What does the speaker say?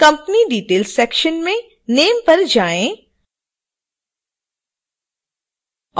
company details section में name पर जाएँ